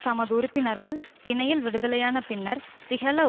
தமது உறுப்பினர்கள் பிணையில் விடுதலையான பின்னர் சிஹல